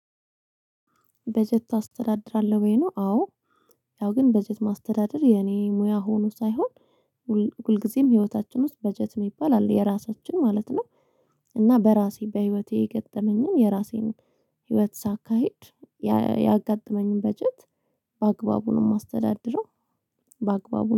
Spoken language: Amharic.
በጀት ታስተዳድራለህ ወይ ነው? አወ ያው ግን በጀት ማስተዳደር የኔ ሙያ ሆኖ ሳይሆን። ሁልጊዜም ህይወታችን ውስጥ በጀት የሚባል አለ የራሳችን ማለት ነው። እና በራሴ በህይወቴ የገጠመኝን የራሴን ህይወት ሳካሂድ። ያጋጠመኝን በጀት በአግባቡ ነው ማስተዳድረው ባግባቡ